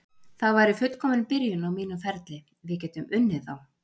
Það væri fullkomin byrjun á mínum ferli, við getum unnið þá.